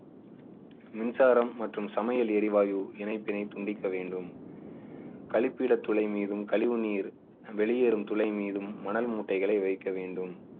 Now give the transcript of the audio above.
மின்சாரம் மற்றும் சமையல் எரிவாயு இணைப்பினை துண்டிக்க வேண்டும். கழிப்பிடத் துளை மீதும் கழிவு நீர் வெளியேறும் துளை மீதும் மணல் மூட்டைகளை வைக்க வேண்டும்.